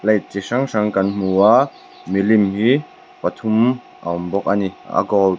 plate chi hrang hrang kan hmu a milim hi pathum a awm bawk a ni la gold .